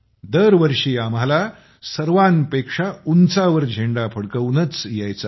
दरवर्षी आम्हाला सर्वाच उंचावर झेंड़ा फडकवूनच यायचं आहे